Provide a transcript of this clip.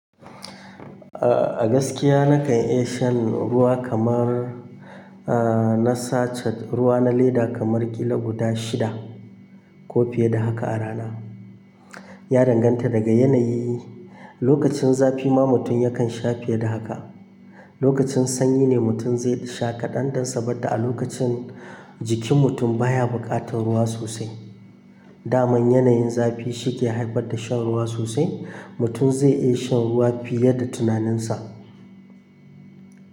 A gaskiya nakan iya shan ruwa kamar, eh, na sachet ruwa na leda kamar kilo guda shida ko fiye da haka a rana. Ya danganta daga yanayi. Lokacin zafi ma mutum yakan sha fiye da haka. Lokacin sanyi ne mutum zai sha kaɗan don saboda a lokacin jikin mutum baya buƙatar ruwa sosai. Da man yanayin zafi shi ke haifar da shan ruwa sosai. Mutum zai iya shan ruwa fiye da tunaninsa.